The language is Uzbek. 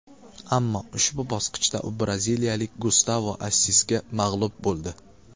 Ammo ushbu bosqichda u braziliyalik Gustavo Assisga mag‘lub bo‘ldi.